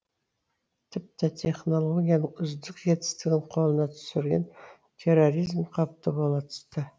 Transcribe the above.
тіпті технологияның үздік жетістігін қолына түсірген терроризм қауіпті бола түсті